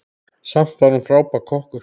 Samt var hún frábær kokkur.